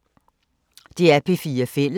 DR P4 Fælles